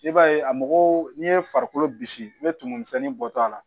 I b'a ye a mɔgɔw n'i ye farikolo bisi n bɛ tumu misɛnnin bɔtɔ a la